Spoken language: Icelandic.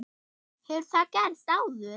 Hefur það gerst áður?